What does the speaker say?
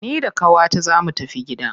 Ni da qawata zaa mu tafi gida.